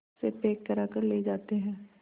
से पैक कराकर ले जाते हैं